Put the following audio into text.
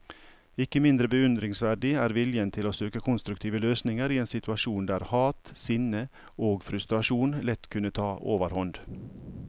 Ikke mindre beundringsverdig er viljen til å søke konstruktive løsninger i en situasjon der hat, sinne og frustrasjon lett kunne ta overhånd.